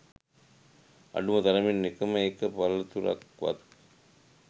අඩුම තරමින් එකම එක පළතුරක්වත්